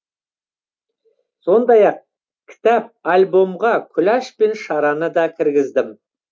сондай ақ кітап альбомға күләш пен шараны да кіргіздім